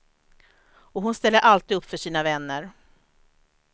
Och hon ställer alltid upp för sina vänner.